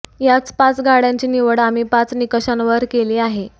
या पाच गाड्यांची निवड आम्ही पाच निकषांवर केली आहे